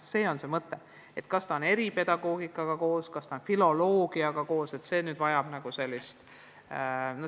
Kas õppur omandab viipekeele eripedagoogikaga koos, filoloogiaga koos – see vajab kaalumist.